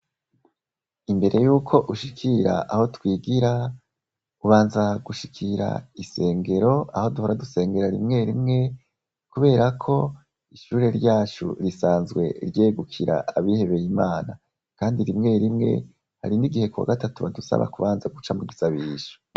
Imbere yuko ushikira aho twigira, ubanza gushikira isengero, aho duhora dusengera rimwe rimwe, kuberako ishure ryacu risanzwe ryegukira abihebeye Imana kandi rimwe rimwe hari n'igihe ku wa gatatu badusaba kubanza guca mu gisabisho.